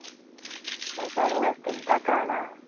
ଆଉ ଚାଷ ବାସ କେନ୍ତା କଣ ?